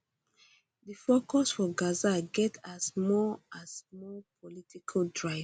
di focus for gaza get has more has more political drive